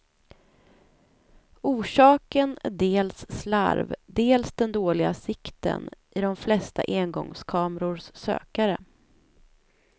Orsaken är dels slarv, dels den dåliga sikten i de flesta engångskamerors sökare.